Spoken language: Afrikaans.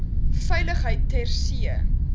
veiligheid ter see